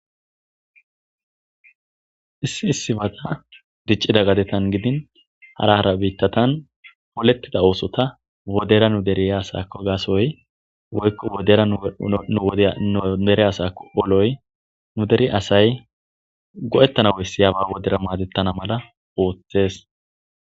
issi issibata diccida gadetan gidin hara hara biittatan polettida oosota wodera nu deri asaakko gaasoy woykko dera udere asako oloy nu deri asay go7ettana wessiyaba wodera maadettana mala ooththes